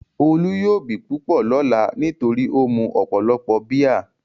Olú yóò bì púpọ̀ lọ́lá nítorí ó mu ọ̀pọ̀lọpọ̀ bíà.